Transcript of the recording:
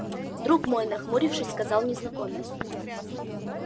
друг мой нахмурившись сказал незнакомец